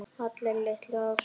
Allir litu á Sólu.